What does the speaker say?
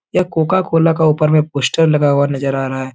यह Coca Cola का ऊपर में पोस्टर लगा हुआ नजर आ रहा है।